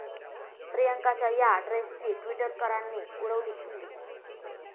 प्रियांकाच्या या ड्रेसची टि्वटरकरांनी उडवली खिल्ली